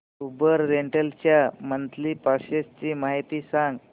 Uber rental च्या monthly passes ची माहिती सांग